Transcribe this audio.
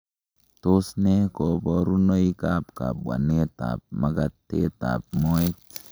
Tos nee koborunoikab kabwanetab magatetab moet?